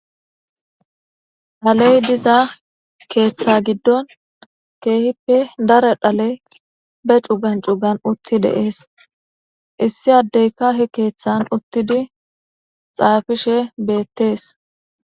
Dhaley diza keeththa giddon keehippe dara dhale be cugan cugan utti de'ees issi addeyka he keeththan uttidi xaafishe beettees.